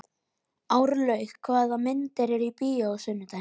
Árlaug, hvaða myndir eru í bíó á sunnudaginn?